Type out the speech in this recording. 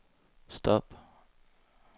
stop